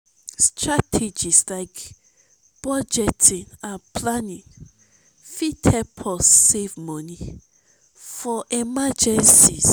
strategies like budgeting and planning fit help us save money for emergencies.